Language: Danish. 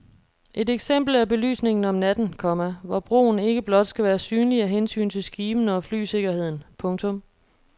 Et eksempel er belysningen om natten, komma hvor broen ikke blot skal være synlig af hensyn til skibene og flysikkerheden. punktum